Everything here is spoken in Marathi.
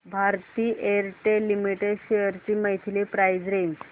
भारती एअरटेल लिमिटेड शेअर्स ची मंथली प्राइस रेंज